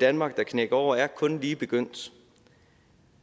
danmark der knækker over er kun lige begyndt